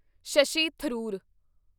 Shashi Tharoor